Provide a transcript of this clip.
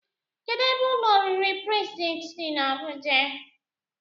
Kedụ ebe ụlọ oriri prezidentị dị n'Abuja?